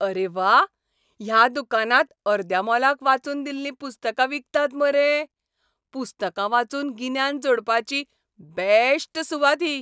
अरे व्वा! ह्या दुकानांत अर्द्या मोलाक वाचून दिल्लीं पुस्तकां विकतात मरे. पुस्तकां वाचून गिन्यान जोडपाची बॅश्ट सुवात ही.